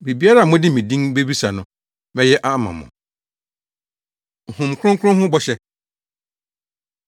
Biribiara a mode me din bebisa no, mɛyɛ ama mo.” Honhom Kronkron Ho Bɔhyɛ